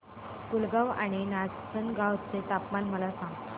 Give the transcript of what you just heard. पुलगांव आणि नाचनगांव चे तापमान मला सांग